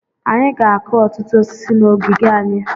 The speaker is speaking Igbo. Anyị ga-akụ ọtụtụ osisi na ogige anyị.